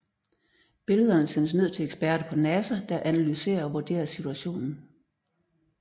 Billederne sendes ned til eksperter på NASA der analyserer og vurderer situationen